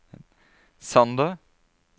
Sander